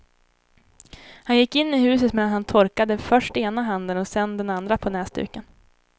Han gick in i huset medan han torkade först ena handen och sedan den andra på näsduken.